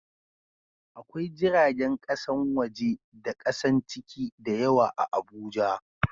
Akwai jiragen kasan waje da kasan ciki da yawa a Abuja